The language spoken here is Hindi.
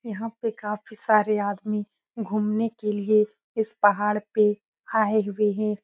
यहां पर काफी सारे आदमी घूमने के लिए इस पहाड़ पे आए हुए हैं।